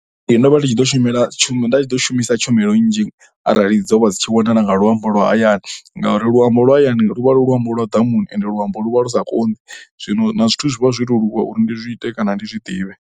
Ee, ndo vha ndi tshi ḓo shumela, nda tshi ḓo shumisa tshumelo nnzhi arali dzo vha dzi tshi wanala nga luambo lwa hayani ngauri luambo lwa hayani lu vha lu luambo lwa ḓamuni ende luambo lu vha lu sa konḓi. Zwino na zwithu zwi vha zwi to leluwa uri ndi zwi ite kana ndi zwi ḓivhe.